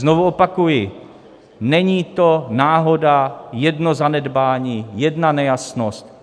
Znovu opakuji, není to náhoda, jedno zanedbání, jedna nejasnost.